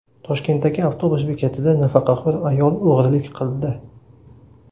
Toshkentdagi avtobus bekatida nafaqaxo‘r ayol o‘g‘rilik qildi.